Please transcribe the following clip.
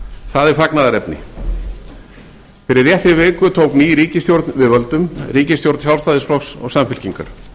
það er fagnaðarefni fyrir réttri viku tók ný ríkisstjórn við völdum ríkisstjórn sjálfstæðisflokks og samfylkingar